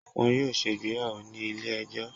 wọn yoo ṣe ìgbéyàwò ni ile-ẹjọ?